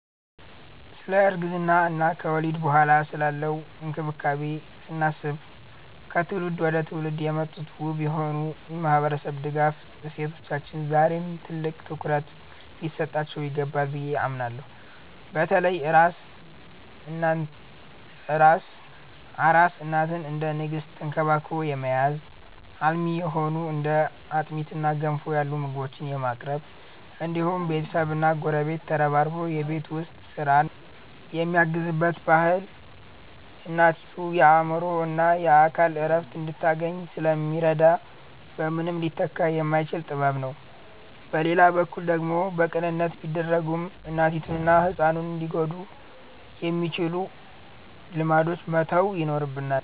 ስለ እርግዝና እና ከወሊድ በኋላ ስላለው እንክብካቤ ስናስብ፣ ከትውልድ ወደ ትውልድ የመጡት ውብ የሆኑ የማህበረሰብ ድጋፍ እሴቶቻችን ዛሬም ትልቅ ትኩረት ሊሰጣቸው ይገባል ብዬ አምናለሁ። በተለይ አራስ እናትን እንደ ንግስት ተንክባክቦ የመያዝ፣ አልሚ የሆኑ እንደ አጥሚትና ገንፎ ያሉ ምግቦችን የማቅረብ እንዲሁም ቤተሰብና ጎረቤት ተረባርቦ የቤት ውስጥ ስራን የሚያግዝበት ባህል እናቲቱ የአእምሮና የአካል እረፍት እንድታገኝ ስለሚረዳ በምንም ሊተካ የማይችል ጥበብ ነው። በሌላ በኩል ደግሞ በቅንነት ቢደረጉም እናቲቱንና ህፃኑን ሊጎዱ የሚችሉ ልማዶችን መተው ይኖርብናል።